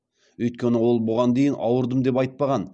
өйткені ол бұған дейін ауырдым деп айтпаған